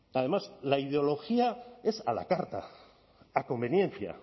además la ideología es a la carta a conveniencia